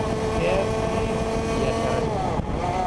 Kees sii mbiasharani